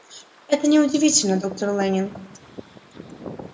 это не удивительно доктор лэннинг